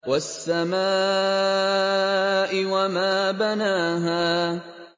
وَالسَّمَاءِ وَمَا بَنَاهَا